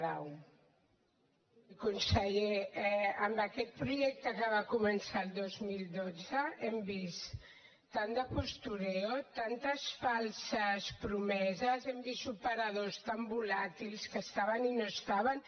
conseller amb aquest projecte que va començar el dos mil dotze hem vist tant de postureo tantes falses promeses hem vist operadors tan volàtils que hi estaven i no hi estaven